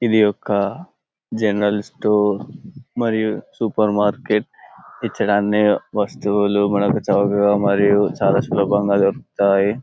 ఇది ఒక general store మరియు సూపర్ మార్కెట్ ఇచ్చట అన్ని వస్తువులు మనకు చవకగా మరియు చాలా సులభంగా దొరుకుతాయి.